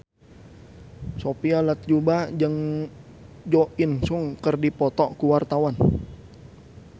Sophia Latjuba jeung Jo In Sung keur dipoto ku wartawan